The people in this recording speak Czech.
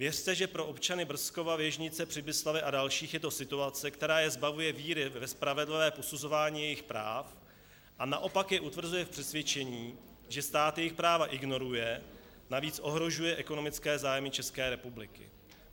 Věřte, že pro občany Brzkova, Věžnice, Přibyslavi a dalších je to situace, která je zbavuje víry ve spravedlivé posuzování jejich práv a naopak je utvrzuje v přesvědčení, že stát jejich práva ignoruje, navíc ohrožuje ekonomické zájmy České republiky.